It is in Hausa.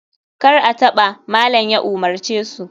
Kar a taba! malam ya umarce su